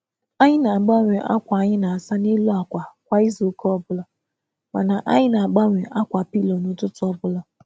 Anyị na-agbanwe ákwà akwa kwa izu, ma na-eme na-eme ka ọkpọ akwa dị mma kwa ụtụtụ.